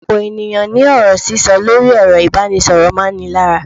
Ọ̀pọ̀ ènìyàn ní ọ̀rọ̀ sísọ lórí ẹ̀rọ ìbánisọ̀rọ̀ máa ń ni lára.